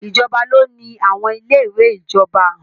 Ìjọba ló ni àwọn ilé ìwé ìjọba.